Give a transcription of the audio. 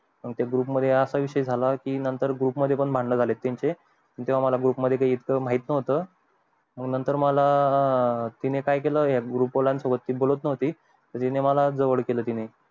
आमच्या group मध्ये असा विषय झाला नंतर मध्ये पण भांडण झाले त्याचे तेव्हा मला group मधलं येवढ काय माहित नव्हतं नंतर मला काय केलं या group वाल्यान सोबत बोलत नव्हती त तिनी मला जवळ केलं असा विषय झाला